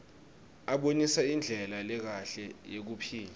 abonisa indlela lekahle yekuphila